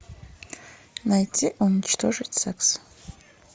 найти уничтожить секс